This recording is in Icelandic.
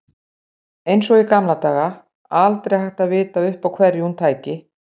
Eins og í gamla daga, aldrei hægt að vita upp á hverju hún tæki.